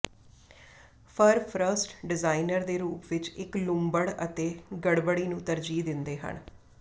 ਫਰ first designer ਦੇ ਰੂਪ ਵਿੱਚ ਇੱਕ ਲੂੰਬੜ ਅਤੇ ਗੜਬੜੀ ਨੂੰ ਤਰਜੀਹ ਦਿੰਦੇ ਹਨ